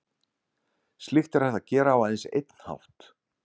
Slíkt er hægt að gera á aðeins einn hátt.